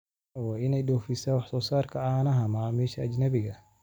Kenya waxay u dhoofisaa wax soo saarka caanaha macaamiisha ajnabiga ah.